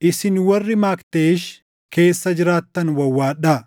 Isin warri Makteesh keessa jiraattan wawwaadhaa;